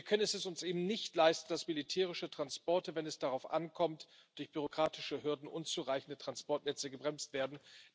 Wir können es uns eben nicht leisten, dass militärische Transporte, wenn es darauf ankommt, durch bürokratische Hürden und unzureichende Transportnetze gebremst werden.